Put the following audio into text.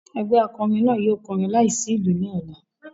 Egbe akọrin naa yóò kọrin laisi ilu ni ọla.